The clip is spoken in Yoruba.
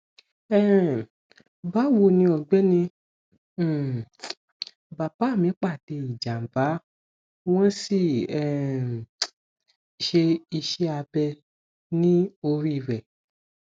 um bawoni ọgbẹni um bàbá mi pàdé ìjàmbá wọn sì um ṣe iṣẹ abẹ ní orí rẹ